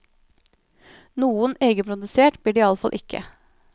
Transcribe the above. Noe egenprodusert blir det i alle fall ikke.